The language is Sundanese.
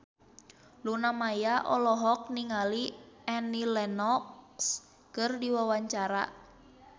Luna Maya olohok ningali Annie Lenox keur diwawancara